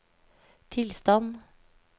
tilstand